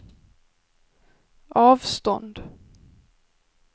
avstånd